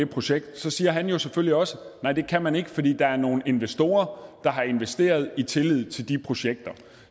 projekterne så siger han jo selvfølgelig også nej det kan man ikke fordi der er nogle investorer der har investeret i tillid til de projekter